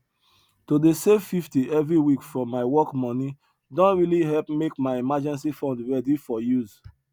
to dey save 50 every week from my work money don really help make my emergency fund ready for use